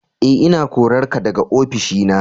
E, ina korarka daga ofishi na.